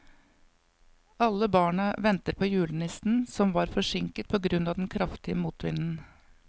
Alle barna ventet på julenissen, som var forsinket på grunn av den kraftige motvinden.